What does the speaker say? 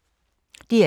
DR2